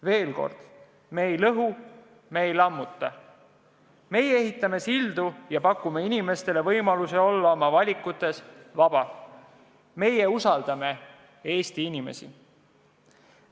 Veel kord, me ei lõhu, me ei lammuta, me ehitame sildu ja pakume inimestele võimalusi olla oma valikutes vabad, meie usaldame Eesti inimesi.